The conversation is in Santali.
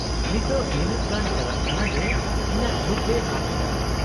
-ᱱᱤᱛᱚᱜ ᱱᱤᱱᱟᱹᱜ ᱜᱟᱱ ᱪᱟᱞᱟᱜ ᱠᱟᱱᱟ ᱡᱮ ᱤᱧᱟᱹᱜ ᱡᱷᱩᱸᱠ ᱜᱮ ᱟᱫ ᱟᱠᱟᱱᱟ ᱾